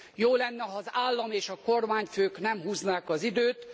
Jó lenne, ha az állam és a kormányfők nem húznák az időt.